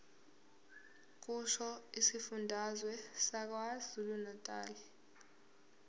kusho isifundazwe sakwazulunatali